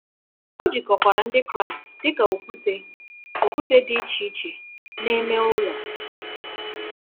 O jikọkwara Ndị Kraịst dị ka okwute okwute dị iche iche na-eme ụlọ.